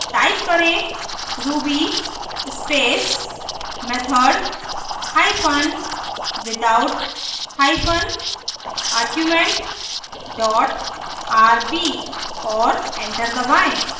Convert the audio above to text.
type करें ruby space method hypen without hypen argument dot rb और enter दबाएं